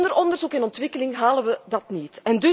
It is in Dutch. Zonder onderzoek en ontwikkeling halen wij het niet.